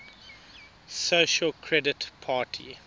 social credit party